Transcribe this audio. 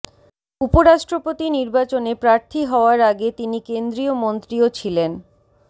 উপরাষ্ট্রপতি নির্বাচনে প্রার্থী হওয়ার আগে তিনি কেন্দ্রীয় মন্ত্রীও ছিলেন